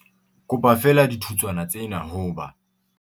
Kopa feela dithutswana tsena ho ba